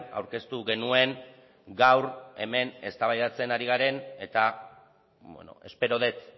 aurkeztu genuen gaur hemen eztabaidatzen ari garen eta espero dut